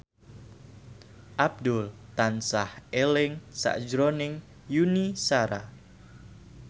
Abdul tansah eling sakjroning Yuni Shara